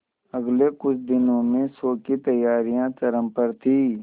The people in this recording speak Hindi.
अगले कुछ दिनों में शो की तैयारियां चरम पर थी